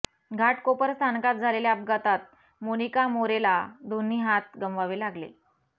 घाटकोपर स्थानकात झालेल्या अपघातात मोनिका मोरेला दोन्ही हात गमवावे लागले